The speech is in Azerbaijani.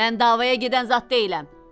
Mən davaya gedən zat deyiləm.